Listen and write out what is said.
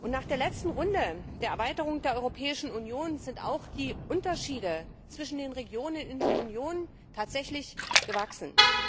Nach der letzten Runde der Erweiterung der Europäischen Union sind auch die Unterschiede zwischen den Regionen in der Union tatsächlich gewachsen.